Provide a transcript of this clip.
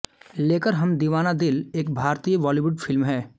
लेकर हम दीवाना दिल एक भारतीय बॉलीवुड फिल्म है